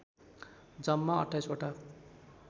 जम्मा २८ वटा